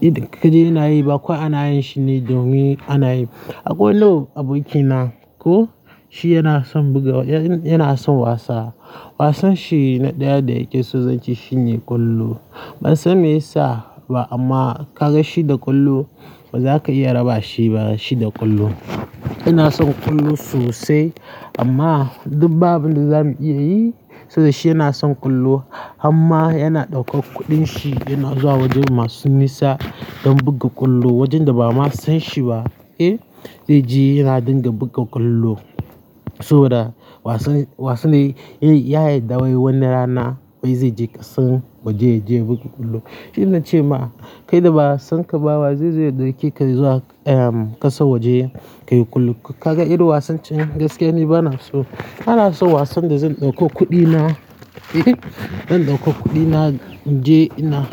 idan jiya yana yi ba, kawai ana yin shi ne domin ana yi. Akwai nau abokina ko, shi yana son buga, yana son wasa. Wasan shi na ɗaya da yake so zai ci shi ne ƙwallo. Ban san me yasa ba amma ka ga shi da ƙwallo, ba za ka iya raba shi ba da shi da ƙwallo. Yana son ƙwallo sosai amma duk babu inda za mu iya yi saboda shi yana son ƙwallo amma yana ɗauko kuɗin shi yana zuwa wajen masu nisa don buga ƙwallo wajen da ba ma san shi ba, eh, zai je yana dinga buga ƙwallo. Saboda wasan, wasan yayi, yayi ɗawai wannan rana wai zai je ƙasan waje ya je buga ƙwallo. Shi yana ce ma, "Kai da ba san ka ba, wa zai zaya da kike zuwa, ehm, ƙasa waje kayi ƙwallo?" Ka ga irin wasan cin gaske ni bana so. Bana son wasan da zan ɗauko kuɗi na, eh, zan ɗauko kuɗi na je ina.